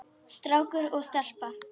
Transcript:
Strákur og stelpa.